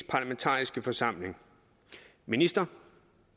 parlamentariske forsamling minister